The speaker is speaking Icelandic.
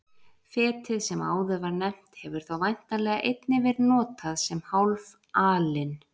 Fetið sem áður var nefnt hefur þá væntanlega einnig verið notað sem hálf alin.